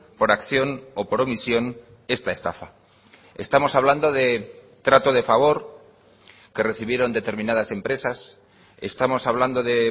por acción o por omisión esta estafa estamos hablando de trato de favor que recibieron determinadas empresas estamos hablando de